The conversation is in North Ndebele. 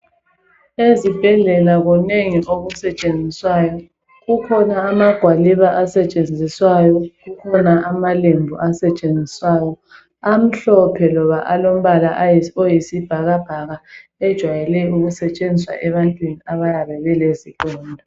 Ezibhedlela kunengi okusetshenziswayo. Kukhona amagwaliba asetshenziswayo, kukhona amalembu asetshenziswayo amhlophe loba alombala oyisibhakabhaka ejwayele ukusetshenziswa ebantwini abayabe belezilonda.